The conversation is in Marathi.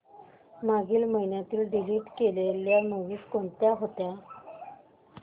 मागील महिन्यात डिलीट केलेल्या मूवीझ कोणत्या होत्या